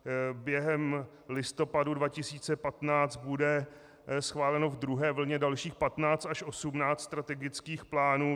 Během listopadu 2015 bude schváleno v druhé vlně dalších 15 až 18 strategických plánů.